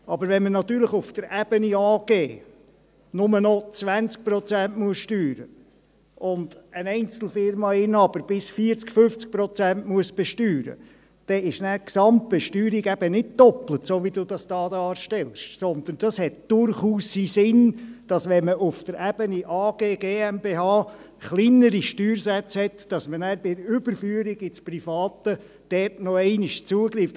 Aber wenn man natürlich auf der Ebene AG nur noch 20 Prozent versteuern muss, und ein Einzelfirmeninhaber bis zu 40 oder 50 Prozent besteuern muss, dann ist die Gesamtbesteuerung eben nicht doppelt, wie Sie es hier darstellen, sondern es macht durchaus Sinn, dass man bei der Überführung ins Private noch einmal zugreift, wenn man auf Ebene AG und GmbH kleinere Steuersätze hat.